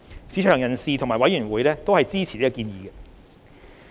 市場人士及委員會均支持建議。